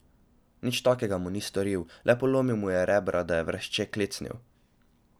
Nič takega mu ni storil, le polomil mu je rebra, da je vrešče klecnil.